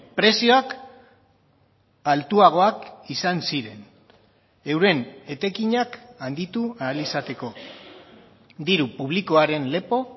prezioak altuagoak izan ziren euren etekinak handitu ahal izateko diru publikoaren lepo